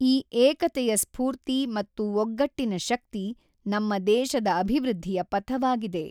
ಈ ಏಕತೆಯ ಸ್ಫೂರ್ತಿ ಮತ್ತು ಒಗ್ಗಟ್ಟಿನ ಶಕ್ತಿ ನಮ್ಮ ದೇಶದ ಅಭಿವೃದ್ಧಿಯ ಫಥವಾಗಿದೆ.